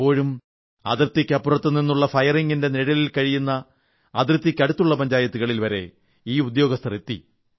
എപ്പോഴും അതിർത്തിക്കപ്പുറത്തു നിന്നുള്ള വെടിവെപ്പിന്റെ നിഴലിൽ കഴിയുന്ന അതിർത്തിക്കടുത്തുള്ള പഞ്ചായത്തുകളിൽവരെ ഈ ഉദ്യോഗസ്ഥർ എത്തി